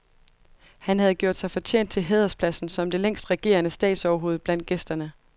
Han havde gjort sig fortjent til hæderspladsen som det længst regerende statsoverhoved blandt gæsterne.